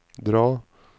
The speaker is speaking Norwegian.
dra